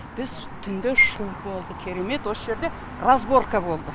біз түнде шу болды керемет осы жерде разборка болды